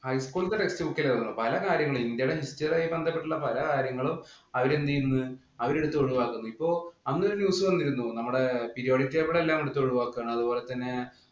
highschool ത്തെ text book ല് വന്ന പലകാര്യങ്ങള് ഇന്ത്യയുടെ ബന്ധപ്പെട്ട പലകാര്യങ്ങളും അവര് എന്തു ചെയ്യുന്നു. അവര് എടുത്ത് ഒഴിവാക്കുന്നു. അപ്പൊ അങ്ങനെ ഒരു news വന്നിരുന്നു. നമ്മടെ periodic table എല്ലാം എടുത്ത് ഒഴിവാക്കുകയാണ്.